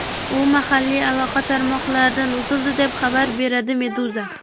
U mahalliy aloqa tarmoqlaridan uzildi, deb xabar beradi Meduza.